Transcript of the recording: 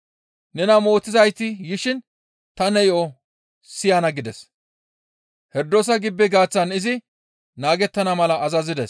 «Nena mootizayti yishin ta ne yo7o siyana» gides; Herdoosa gibbe gaaththan izi naagettana mala azazides.